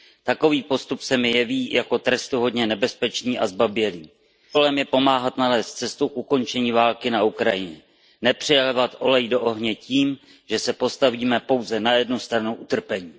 Takový postup se mi jeví jako trestuhodně nebezpečný a zbabělý. Naším úkolem je pomáhat nalézt cestu k ukončení války na Ukrajině a ne přilévat olej do ohně tím, že se postavíme pouze na jednu stranu utrpení.